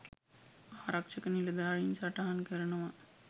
ආරක්ෂක නිලධාරීන් සටහන් කරනවා..